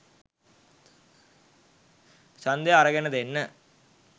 ඡන්දය අරගෙන දෙන්න